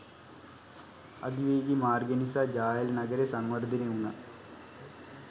අධිවේගී මාර්ගය නිසා ජාඇල නගරය සංවර්ධනය වුණා